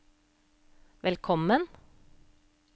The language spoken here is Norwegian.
velkommen